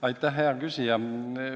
Aitäh, hea küsija!